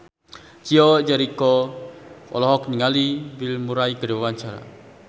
Chico Jericho olohok ningali Bill Murray keur diwawancara